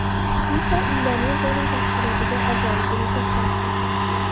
FIFA Indoneziyaning tashkilotga a’zoligini to‘xtatdi.